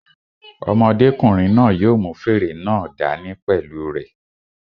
Ọmọdékùnrin náà yóò mú fèrè náà dá ní pẹ̀lú u rẹ̀